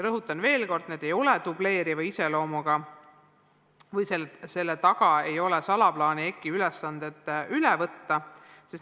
Rõhutan veel kord, need ei ole dubleeriva iseloomuga ja selle taga ei ole salaplaani EKI ülesandeid üle võtta.